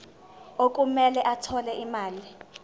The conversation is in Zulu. okumele athole imali